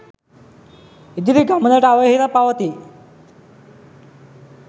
ඉදිරි ගමනට අවහිර පවතී.